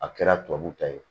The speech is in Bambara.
A kɛra tubabu ta ye